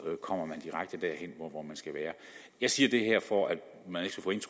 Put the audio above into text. kommer man direkte derhen hvor man skal være jeg siger det her for at